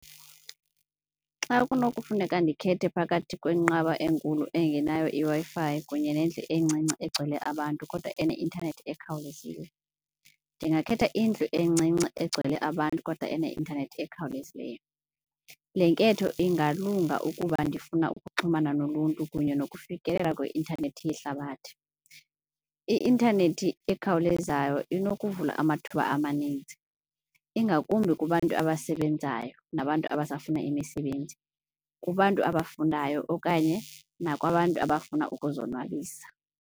Xa kunokufuneka ndikhethe phakathi kwenqaba enkulu engenayo iWi-Fi kunye nendlu encinci egcwele abantu kodwa eneintanethi ekhawulezile, ndingakhetha indlu encinci egcwele abantu kodwa eneintanethi ekhawulezileyo. Le nketho ingalunga ukuba ndifuna ukuxhumana noluntu kunye nokufikeleka kwi-intanethi yehlabathi. I-intanethi ekhawulezayo inokuvula amathuba amaninzi ingakumbi kubantu abasebenzayo nabantu abasafuna emisebenzi, kubantu abafundayo okanye nakwabantu abafuna ukuzonwabisa.